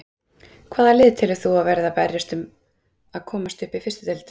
Hvaða lið telur þú að verði að berjast um að komast upp í fyrstu deild?